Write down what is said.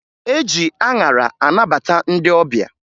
E ji aṅara anabata ndị ọbịa